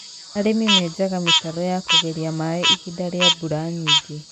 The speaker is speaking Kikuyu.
arĩmĩ menjanga mĩtaro ya kũgeria maaĩ ihinda ria mbura nyingĩ